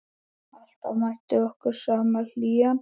Alltaf mætti okkur sama hlýjan.